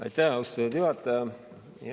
Aitäh, austatud juhataja!